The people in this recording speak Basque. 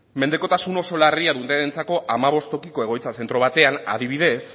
mendekotasun oso larria dutenentzako hamabost tokiko egoitza zentro batean adibidez